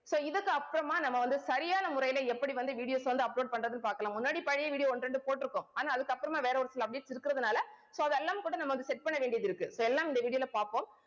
so இதுக்கு அப்புறமா நம்ம வந்து, சரியான முறையில எப்படி வந்து, videos அ வந்து, upload பண்றதுன்னு பாக்கலாம். முன்னாடி பழைய video ஒண்ணு, ரெண்டு போட்டிருக்கோம். ஆனா அதுக்கப்புறமா, வேற ஒரு சில updates இருக்கறதுனால, so அதெல்லாம் கூட, நம்ம வந்து, set பண்ண வேண்டியதிருக்கு. இப்ப எல்லாம் இந்த video ல பாப்போம்